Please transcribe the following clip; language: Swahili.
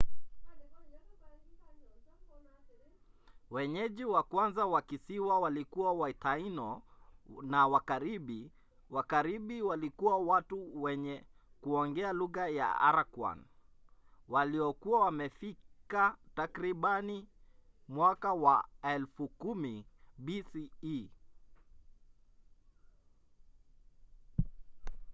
wenyeji wa kwanza wa kisiwa walikuwa wataino na wakaribi. wakaribi walikuwa watu wenye kuongea lugha ya arakwan waliokuwa wamefika takribani mwaka wa 10,000 bce